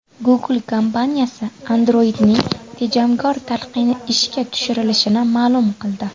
Google kompaniyasi Android’ning tejamkor talqini ishga tushirilishini ma’lum qildi.